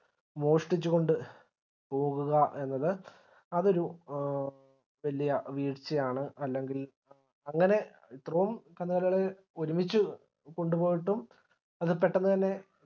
മോഷ്ടിച്ചുകൊണ്ട് പോകുക എന്നത് അത് ഒരു വല്യ വീഴ്ച്ചയാണ് അല്ലെങ്കിൽ അങ്ങനെ ഇത്രയും കന്നുകാലികളെ ഒരുമിച്ച് കൊണ്ടുപോയിട്ടും അത് പെട്ടന്ന് തന്നെ